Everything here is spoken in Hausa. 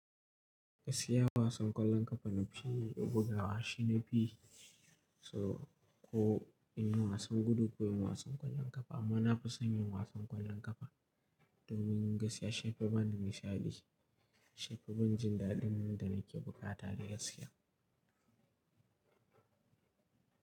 Gaskiya wasan ƙwallon ƙafa na fi bugawa shi na fi so, ko in yi wasan gudu ko in yi wasan ƙwallon ƙafa. Amma na fi son yin wasan ƙwallon ƙafa domin gaskiya shi yafi bada nishaɗi. Shi yafi bani jin daɗin nan da nake bukata gaskiya.